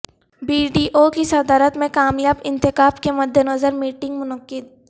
be D O کی صدارت میں کامیاب انتخاب کے مد نظر میٹنگ منعقد